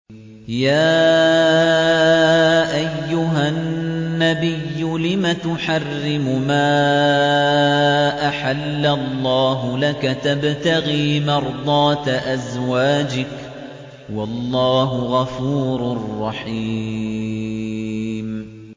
يَا أَيُّهَا النَّبِيُّ لِمَ تُحَرِّمُ مَا أَحَلَّ اللَّهُ لَكَ ۖ تَبْتَغِي مَرْضَاتَ أَزْوَاجِكَ ۚ وَاللَّهُ غَفُورٌ رَّحِيمٌ